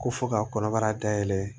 Ko fɔ ka kɔnɔbara dayɛlɛ